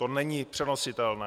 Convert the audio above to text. To není přenositelné.